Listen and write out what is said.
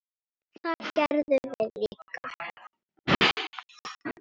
Það gerðum við líka.